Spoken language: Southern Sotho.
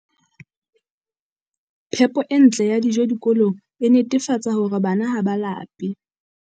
Phepo e ntle ya dijo dikolong e netefatsa hore bana ha ba lape.